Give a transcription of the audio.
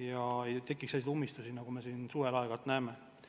ega tekiks selliseid ummistusi, nagu me suvel aeg-ajalt oleme näinud.